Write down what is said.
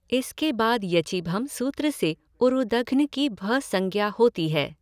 इसके बाद यचिभम् सूत्र से ऊरुदघ्न की भ संज्ञा होती है।